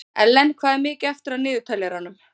Ellen, hvað er mikið eftir af niðurteljaranum?